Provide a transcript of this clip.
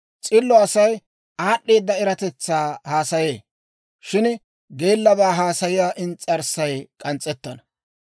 S'illo Asay aad'd'eeda eratetsaa haasayee; shin geellabaa haasayiyaa ins's'arssay k'ans's'ettana.